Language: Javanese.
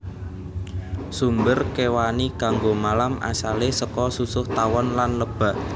Sumber kéwani kanggo malam asalé saka susuh tawon lan lebah